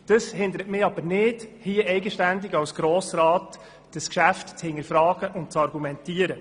Dies hindert mich jedoch nicht, hier eigenständig als Grossrat Geschäfte zu hinterfragen und zu argumentieren.